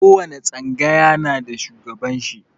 Ko wani tsangaya na da shugaban shi.